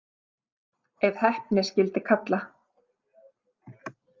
Ef heppni skyldi kalla.